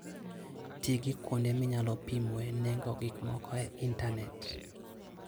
Ti gi kuonde minyalo pimoe nengo gik moko e intanet.